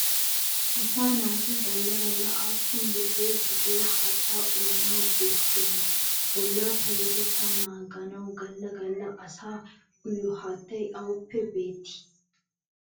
Asaa naati galla galla aappun litre gidiya haattaa uyana bessiyonaa? Bollaa payyatettaa naaganawu galla galla asay uyiyo haattay awuppe beettii?